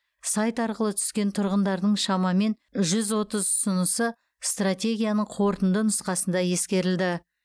сайт арқылы түскен тұрғындардың шамамен жүз отыз ұсынысы стратегияның қорытынды нұсқасында ескерілді